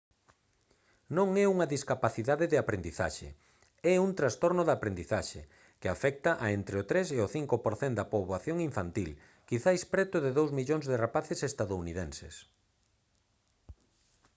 non é unha discapacidade de aprendizaxe é un trastorno da aprendizaxe que «afecta a entre o 3 e o 5 % da poboación infantil quizais preto de 2 millóns de rapaces estadounidenses»